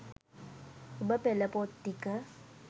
ඔබ පෙළ පොත් ටික